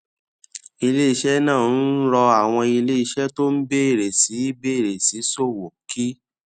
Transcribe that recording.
iléiṣẹ náà ń rọ àwọn iléiṣẹ tó ń bèrè sí í bèrè sí í ṣòwò kí